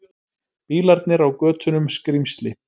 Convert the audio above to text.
Bílarnir á götunum skrímsli.